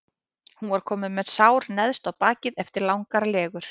Hún var komin með sár neðst á bakið eftir langar legur.